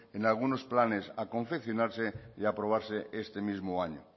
en algunos planes a confeccionarse y a aprobarse este mismo año